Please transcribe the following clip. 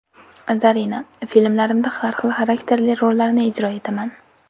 Zarina: Filmlarimda har xil xarakterli rollarni ijro etaman.